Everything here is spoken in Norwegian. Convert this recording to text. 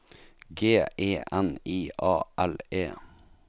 G E N I A L E